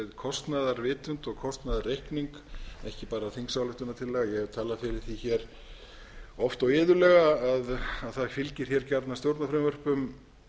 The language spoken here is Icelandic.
kostnaðarvitund og kostnaðarreikning ekki bara þingsályktunartillögu ég hef talað fyrir því oft og iðulega að það fylgir gjarnan stjórnarfrumvörpum